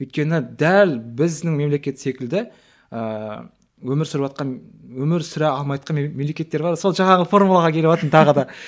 өйткені дәл біздің мемлекет секілді ыыы өмір сүріватқан өмір сүре алмайатқан мемлекеттер бар сол жаңағы формулаға келіватырмын тағы да